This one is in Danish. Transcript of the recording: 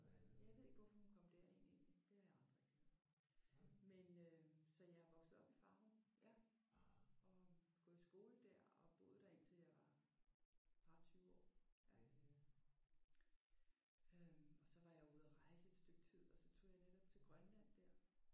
Ja jeg ved ikke hvorfor hun kom derind egentlig. Det har jeg aldrig det. Men øh så jeg er vokset op i Farum ja og gået i skole der og boet der indtil jeg var et par og tyve år. Øh og så var jeg ude at rejse i et stykke tid og så tog jeg netop til Grønland der